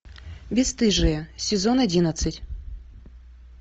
бесстыжие сезон одиннадцать